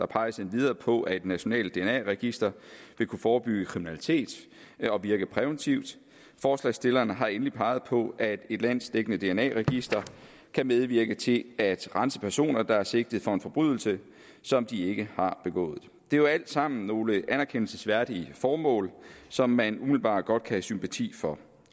peges endvidere på at et nationalt dna register vil kunne forebygge kriminalitet og virke præventivt forslagsstillerne har endelig peget på at et landsdækkende dna register kan medvirke til at rense personer der er sigtet for en forbrydelse som de ikke har begået det er jo alt sammen nogle anerkendelsesværdige formål som man umiddelbart godt kan have sympati for